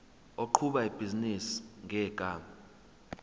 oqhuba ibhizinisi ngegama